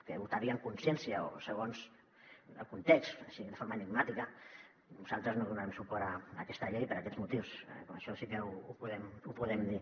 que votaria en consciència o segons el context així de forma enigmàtica nosaltres no donarem suport a aquesta llei per aquests motius això sí que ho podem dir